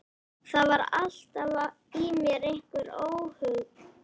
Það var alltaf í mér einhver óhugur.